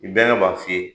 I bɛɛ b'a f'i ye